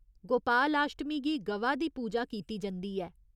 गोपालाश्टमी गी ग'वा दी पूजा कीती जंदी ऐ।